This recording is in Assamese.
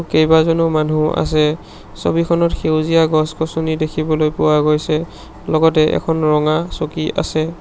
কেবাজনো মানুহ আছে ছবিখনত সেউজীয়া গছ-গছনি দেখিবলৈ পোৱা গৈছে লগতে এখন ৰঙা চকী আছে।